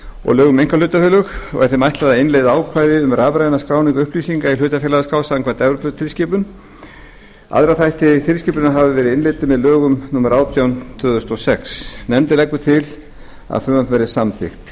og lögum um einkahlutafélög og er þeim ætlað að innleiða ákvæði um rafræna skráningu upplýsinga í hlutafélagaskrá samkvæmt evróputilskipun aðrir þættir tilskipunarinnar hafa verið innleiddir með lögum númer átján tvö þúsund og sex nefndin leggur til að frumvarpið verði samþykkt